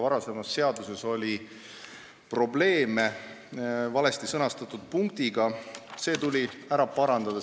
Varasemas seaduses oli üks valesti sõnastatud punkt, see tuli ära parandada.